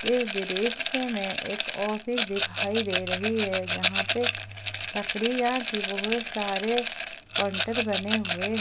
इस दृश्य में एक ऑफिस दिखाई दे रही है जहां पे लकड़ियां की बहुत सारे काउंटर बने हुए --